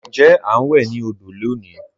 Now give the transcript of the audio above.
Ǹjẹ̀ a n wè ni òdò lọ́ní?